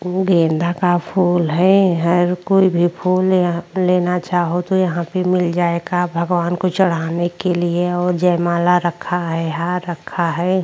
गेंदा का फूल है। हर कोई भी फूल यहाँ लेना चाहो तो यहाँ पे मिल जाएगा भगवान को चढ़ाने के लिए और जयमाला रखा है हार रखा है।